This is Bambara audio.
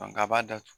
a b'a datugu